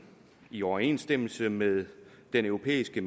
i overensstemmelse med den europæiske